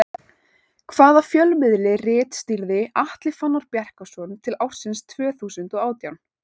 Hvaða fjölmiðli ritstýrði Atli Fannar Bjarkason til ársins tvö þúsund og átján?